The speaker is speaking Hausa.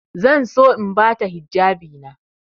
Zan so in ba ta hijabina.